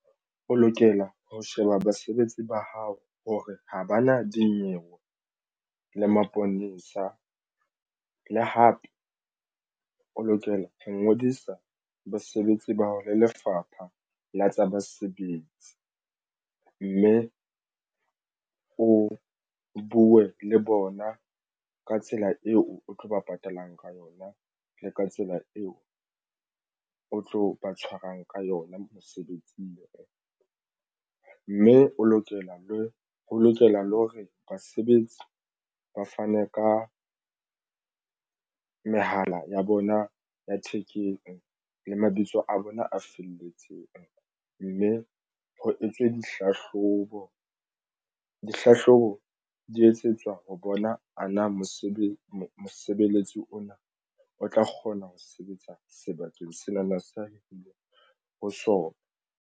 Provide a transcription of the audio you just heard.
O lokela ho sheba basebetsi ba hao hore ha ba na dinyewe le maponesa le hape o lokela ho ngodisa basebetsi ba hao le Lefapha la tsa Basebetsi mme o buwe le bona ka tsela eo o tlo ba patalang ka yona le ka tsela eo o tlo ba tshwarang ka yona mosebetsing mme o lokela le ho lokela le hore basebetsi ba fane ka mehala ya bona ya thekeng le mabitso a bona a felletseng mme ho etswe ho dihlahlobo. Dihlahlobo di etsetswa ho bona ana mosebetsi ona o tla kgona ho sebetsa sebakeng sena na sa hoo ho sona.